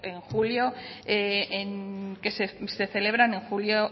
que se celebran en julio